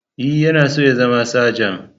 E, yana so ya zama sajan.